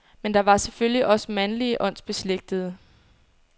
Men der var selvfølgelig også mandlige åndsbeslægtede.